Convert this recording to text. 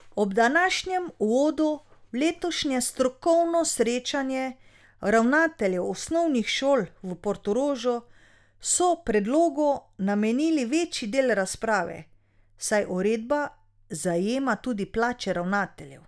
Ob današnjem uvodu v letošnje strokovno srečanje ravnateljev osnovnih šol v Portorožu so predlogu namenili večji del razprave, saj uredba zajema tudi plače ravnateljev.